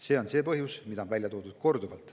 See on see põhjus, mida on korduvalt välja toodud.